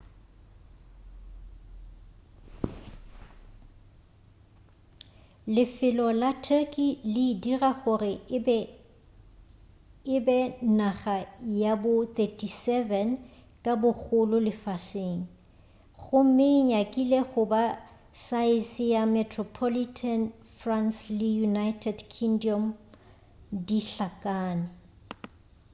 lefelo la turkey le e dira gore e be naga ya bo 37 ka bogolo lefaseng gomme e nyakile goba saese ya metropolitan france le united kingdom di hlakane